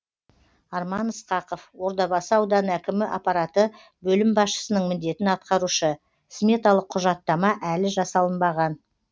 арман ысқақов ордабасы ауданы әкімі аппараты бөлім басшысының міндетін атқарушы сметалық құжаттама әлі жасалынбаған